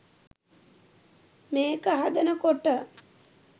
මේක හදනකොට